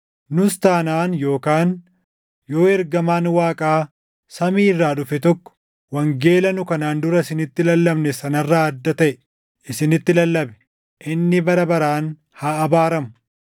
Nus taanaan yookaan yoo ergamaan Waaqaa samii irraa dhufe tokko wangeela nu kanaan dura isinitti lallabne sana irraa adda taʼe isinitti lallabe, inni bara baraan haa abaaramu!